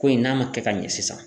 Ko in n'a ma kɛ ka ɲɛ sisan.